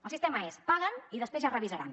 el sistema és paguen i després ja ho revisaran